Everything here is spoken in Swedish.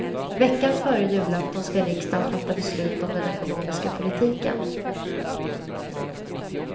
Veckan före julafton ska riksdagen fatta beslut om den ekonomiska politiken.